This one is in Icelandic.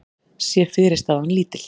sé fyrirstaðan lítil.